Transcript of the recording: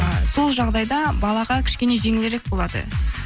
ы сол жағдайда балаға кішкене жеңілдірек болады